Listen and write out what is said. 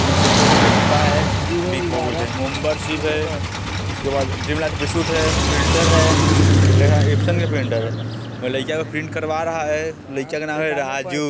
यहाँ Center Fresh के डिब्बा है | बिग बबूल के उसके बाद ड्रीम लाइट बिस्कुट है प्रिंटर है प्रिंटर का नाम एप्सन का प्रिंटर है | एगो लइका यहाँ प्रिंट करवा रहा है | लइका के नाम है राजू |